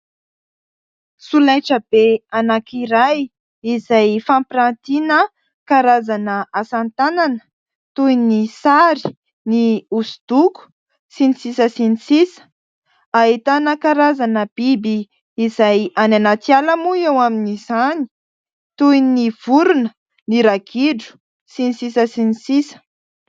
Solaitrabe anakiray izay fampiratiana karazana asa tanana toy ny sary, ny osodoko sy ny sisa sy ny sisa. Ahitana karazana biby izay any anaty ala moa eo amin'izany toy ny vorona, ny ragidro sy ny sisa sy ny sisa.